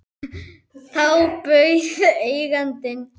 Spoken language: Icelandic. Þá bauð eigandi